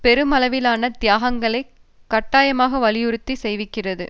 பெருமளவிலான தியாகங்களை கட்டாயமாக வலியுறுத்திச் செய்விக்கிறது